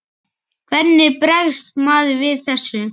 Hvernig bregst maður við þessu?